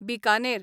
Bikaner